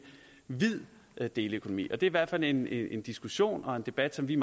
hvid deleøkonomi det i hvert fald en en diskussion og en debat som vi